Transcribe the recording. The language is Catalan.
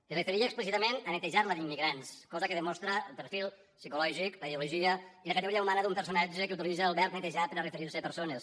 es referia explícitament a netejar la d’immigrants cosa que demostra el perfil psicològic la ideologia i la categoria humana d’un personatge que utilitza el verb netejar per a referir se a persones